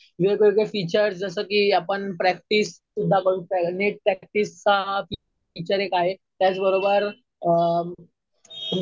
वेगवेगळे फीचर्स जसं कि आपण प्रॅक्टिस सुध्दा, नीट प्रॅक्टिसचा हा फिचर एक आहे. त्याच बरोबर